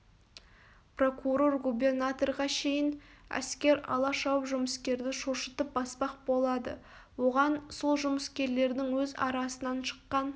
прокурор губернаторға шейін әскер ала шауып жұмыскерді шошытып баспақ болады оған сол жұмыскерлердің өз арасынан шыққан